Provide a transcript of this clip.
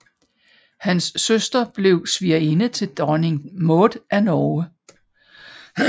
Hans søster blev svigerinde til dronning Maud af Norge